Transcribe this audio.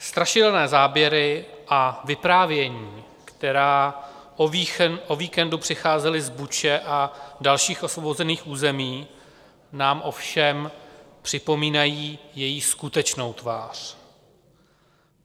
Strašidelné záběry a vyprávění, která o víkendu přicházely z Buči a dalších osvobozených území, nám ovšem připomínají její skutečnou tvář.